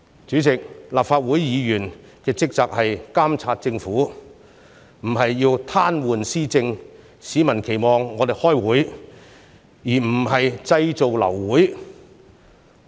主席，立法會議員的職責是監察政府，而不是癱瘓施政，市民期望我們開會，而不是製造流會。